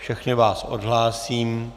Všechny vás odhlásím.